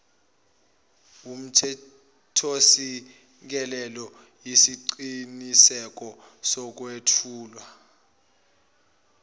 wumthethosisekelo yisiqiniseko sokwethula